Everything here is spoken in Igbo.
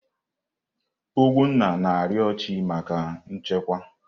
Ugwunna na-arịọ chị́ maka nchekwa.